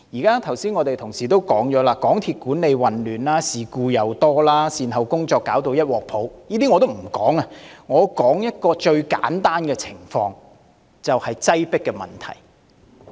剛才已有同事提到，港鐵公司管理混亂，事故頻生，善後工作一團糟，這些我也不說，只說一個最簡單的情況，就是擠迫問題。